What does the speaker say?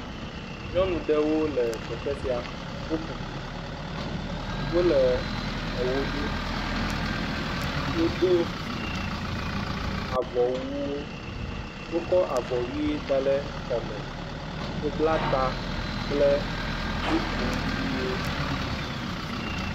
nyɔnu ɖewo le teƒe sia wóle eɣo ɖu wodó avɔwuwo wokó avɔ yi dale kɔme wó bla ta kple wiko wiwo